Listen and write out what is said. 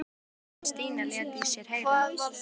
Ekki fyrr en Stína lét í sér heyra.